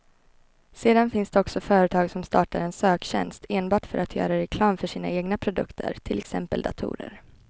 Sedan finns det också företag som startar en söktjänst enbart för att göra reklam för sina egna produkter, till exempel datorer.